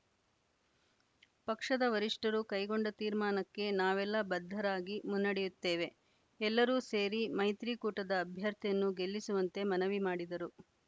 ಪಕ್ಷದ ವರಿಷ್ಠರು ಕೈಗೊಂಡ ತೀರ್ಮಾನಕ್ಕೆ ನಾವೆಲ್ಲ ಬದ್ಧರಾಗಿ ಮುನ್ನಡೆಯುತ್ತೇವೆ ಎಲ್ಲರೂ ಸೇರಿ ಮೈತ್ರಿ ಕೂಟದ ಅಭ್ಯರ್ಥಿಯನ್ನು ಗೆಲ್ಲಿಸುವಂತೆ ಮನವಿ ಮಾಡಿದರು